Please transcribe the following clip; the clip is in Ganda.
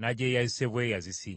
nagyeyazise bweyazisi!”